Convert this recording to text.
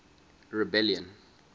rebellion